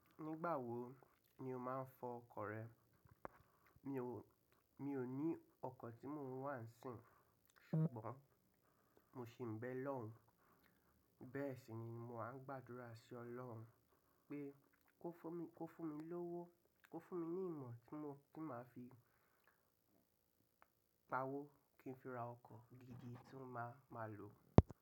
Nígbà wo ni o máa ń fọ ọkọ̀ rẹ? Mi ò, mi ò ní ọkọ̀ tí mò ń wà sìn, ṣùgbọ́n mo sì ń bẹ olorun Bẹ́ẹ̀ sì ni mo máa ń gbàdúrà sí ọlọ́run pé kó fún mi, kó fún mi lówó, kó fún mi ní ìmọ̀ tí mó, tí màá fi pa owó kí n fi ra ọkọ̀ gidi tí máa, máa lò.